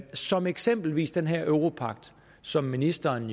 som eksempelvis den her europagt som ministeren